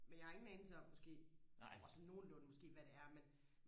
men jeg har ingen anelse om måske åh sådan nogenlunde måske hvad det er men